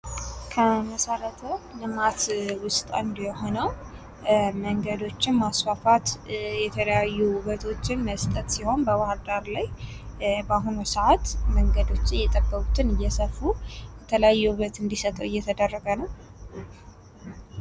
ከመሠረተ ልማት ውስጥ አንዱ የሆነው መንገዶችን ማስፋፋት የተለያዩ ውበቶችን መስጠት በባህርዳር ላይ በአሁኑ ሰአት መንገዶች የጠበቡትን እያሰፉ የተለያየ ውበት እንድሰጡ እየተደረገ ነው።